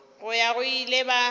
go ya go ile ba